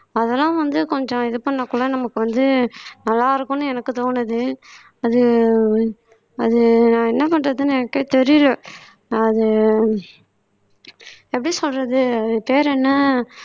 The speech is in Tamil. அதெல்லாம் வந்து கொஞ்சம் இது பண்ணா கூட நமக்கு வந்து நல்லா இருக்கும்னு எனக்கு தோணுது அது அது நான் என்ன பண்றதுன்னு எனக்கே தெரியலே அது எப்படி சொல்றது பேர் என்ன